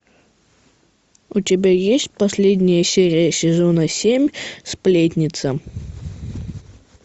у тебя есть последняя серия сезона семь сплетница